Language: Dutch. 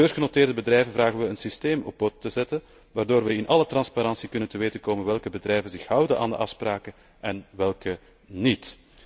Voor beursgenoteerde bedrijven vragen we een systeem op poten te zetten waardoor we in alle transparantie te weten kunnen komen welke bedrijven zich houden aan de afspraken en welke niet.